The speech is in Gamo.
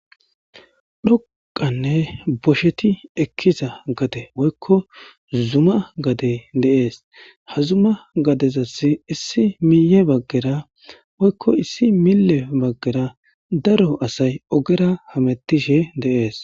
dhoqanne bosheti ekkiza gate woykko zuma gade deees ha zuma gadezasi issi miye baggera woykko issi mille baggera daro asay ogera hamettishe deees